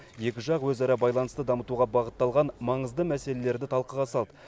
екі жақ өзара байланысты дамытуға бағытталған маңызды мәселелерді талқыға салды